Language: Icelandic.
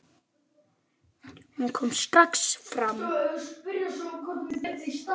Hún kom strax fram.